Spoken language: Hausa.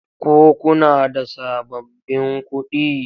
Ko kuna da sababbin kuɗi?